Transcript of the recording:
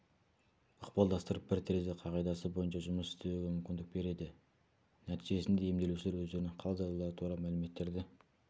ықпалдастырып бір терезе қағидасы бойынша жұмыс істеуге мүмкіндік береді нәтижесінде емделушілер өздерінің хал-жағдайлары туралы мәліметтерді